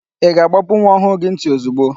Ị ga-àgbápú nwa ọhụụ gị ntị ozigbo?